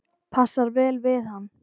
Passar vel við hann.